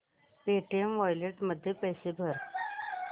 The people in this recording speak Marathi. पेटीएम वॉलेट मध्ये पैसे भर